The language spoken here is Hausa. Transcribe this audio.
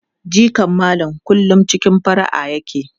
Jikan Malam kullum cikin fara'a yake.